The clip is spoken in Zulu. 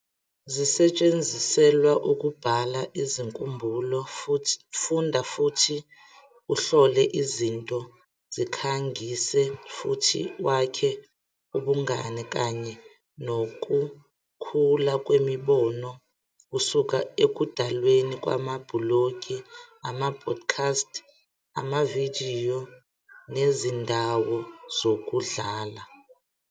zisetshenziselwa ukubhala izinkumbulo, funda futhi uhlole izinto, zikhangise, futhi wakhe ubungane kanye nokukhula kwemibono kusuka ekudalweni kwamabhulogi, ama-podcast, amavidiyo, nezindawo zokudlala.